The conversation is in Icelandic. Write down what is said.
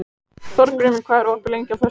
Þórgrímur, hvað er opið lengi á föstudaginn?